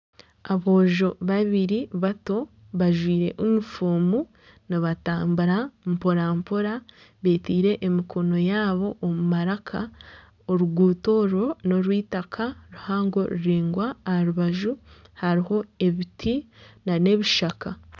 Aboojo babiri bato bajwaire yunifoomu nibatambura mpora mpora beteire emikono yaabo omu maraka oruguuto orwo n'orweitaka ruhango ruraingwa aha rubaju hariho ebiti nana ebishaka.